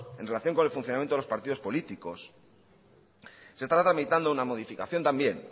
en relación con funcionamiento de los partidos políticos se está tramitando una modificación también